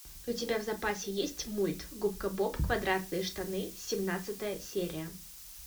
у тебя в запасе есть мульт губка боб квадратные штаны семнадцатая серия